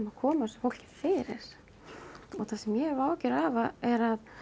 að koma þessu fólki fyrir það sem ég hef áhyggjur af er að